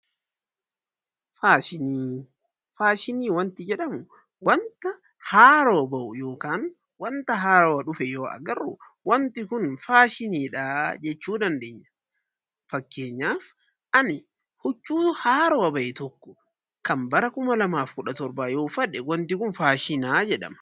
Faashinii , Faashinii wanti jedhamu wanta haarowa ba'u (wanta haarowa) dhufe yoo agarru wanti kun faashinii dhaa jechuu dandeenya. Fakkeenyaaf ani huccuu haarowa ba'e tokko kan bara 2017 yoo uffadhe, wanti kun faashinaa jedhama.